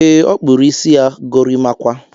E, ọ kpụrụ isi ya gorimakwa